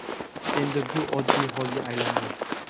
endi bu oddiy xolga aylandi.